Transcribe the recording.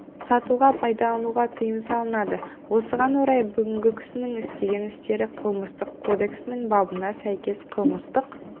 сатуға пайдалануға тыйым салынады осыған орай бүгінгі кісінің істеген әрекеті қылмыстық кодексінің бабына сәйкес қылмыстық